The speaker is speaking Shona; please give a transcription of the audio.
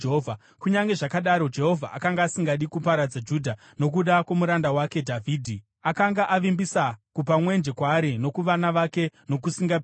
Kunyange zvakadaro, Jehovha akanga asingadi kuparadza Judha, nokuda kwomuranda wake Dhavhidhi. Akanga avimbisa kupa mwenje kwaari nokuvana vake nokusingaperi.